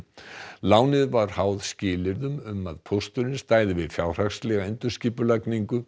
lánið var háð skilyrðum um að Pósturinn stæði við fjárhagslega endurskipulagningu